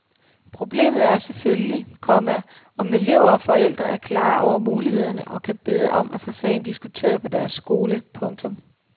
Problemet er selvfølgelig, komma om elever og forældre er klare over mulighederne og kan bede om at få sagen diskuteret på deres skole. punktum